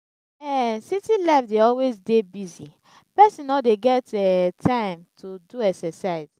um city life dey always dey busy pesin no dey get um time to do exercise.